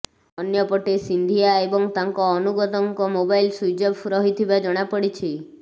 ଅନ୍ୟପଟେ ସିନ୍ଧିଆ ଏବଂ ତାଙ୍କ ଅନୁଗତଙ୍କ ମୋବାଇଲ ସୁଇଚ୍ ଅଫ ରହିଥିବା ଜଣା ପଡିଛି